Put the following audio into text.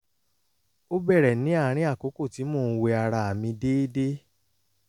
ó bẹ̀rẹ̀ ní àárín àkókò tí mò ń wẹ ara mi déédé